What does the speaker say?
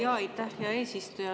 Aitäh, hea eesistuja!